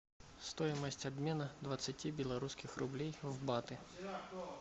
стоимость обмена двадцати белорусских рублей в баты